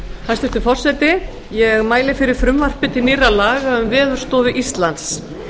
hæstvirtur forseti ég mæli fyrir frumvarpi til nýrra laga um veðurstofu íslands